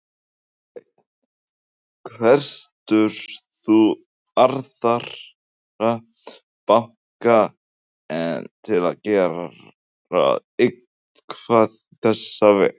Hafsteinn: Hvetur þú aðra banka til að gera eitthvað í þessa vegu?